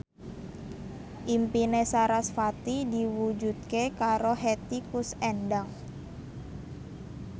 impine sarasvati diwujudke karo Hetty Koes Endang